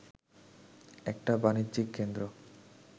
একটা বাণিজ্যিক কেন্দ্র